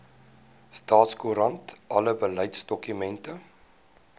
staatskoerant alle beleidsdokumente